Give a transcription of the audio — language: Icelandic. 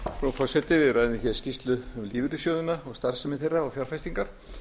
frú forseti við ræðum skýrslu um lífeyrissjóðina starfsemi þeirra og fjárfestingar